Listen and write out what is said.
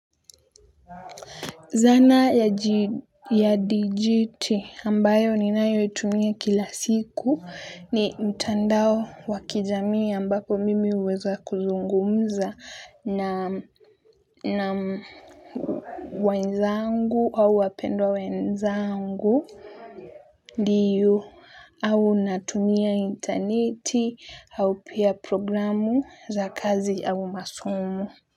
Zana ya dijiti ambayo ninayo itumia kila siku ni mtandao wakijamii ambapo mimi huweza kuzungumza na na wenzangu au wapendwa wenzangu ndiyo au natumia interneti au pia programu za kazi au masomo.